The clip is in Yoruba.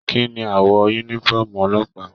Kínní awọ yúnífọ̀ọ́mù ọlọ́pàá?